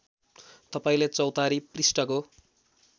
तपाईँले चौतारी पृष्ठको